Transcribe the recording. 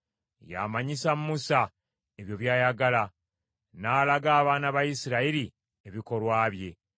Yamanyisa Musa ebyo by’ayagala, n’alaga abaana ba Isirayiri ebikolwa bye.